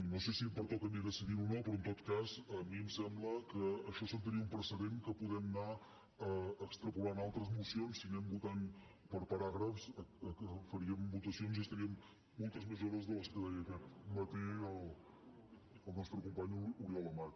no sé si em pertoca a mi decidir ho o no però en tot cas a mi em sembla que això assentaria un precedent que podem anar extrapolant a altres mocions si anem votant per paràgrafs faríem votacions i estaríem moltes més hores de les que deia aquest matí el nostre company oriol amat